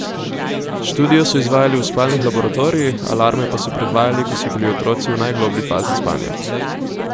Študijo so izvajali v spalnih laboratorijih, alarme pa so predvajali, ko so bili otroci v najgloblji fazi spanja.